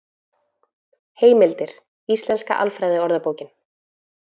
Heimildir: Íslenska alfræðiorðabókin.